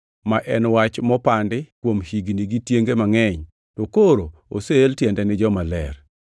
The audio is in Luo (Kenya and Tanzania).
ma en wach manopandi kuom higni gi tienge mangʼeny, to koro oseel tiende ni jomaler.